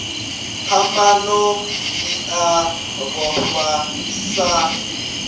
phambano i a vhofha sa